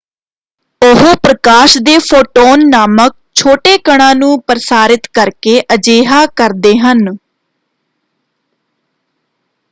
ਉਹ ਪ੍ਰਕਾਸ਼ ਦੇ ਫੋਟੋਨ ਨਾਮਕ ਛੋਟੇ ਕਣਾਂ ਨੂੰ ਪ੍ਰਸਾਰਿਤ ਕਰਕੇ ਅਜਿਹਾ ਕਰਦੇ ਹਨ।